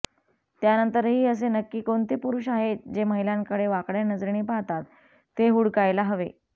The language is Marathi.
त्यानंतरही असे नक्की कोणते पुरुष आहेत जे महिलांकडे वाकड्या नजरेने पाहतात ते हुडकायला हवे